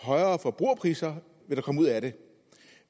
højere forbrugerpriser ud af det